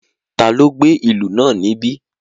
Taló gbé ìlú náà níbí?